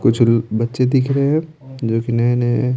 कुछ बच्चे दिख रहे हैं जो कि नए-नए है।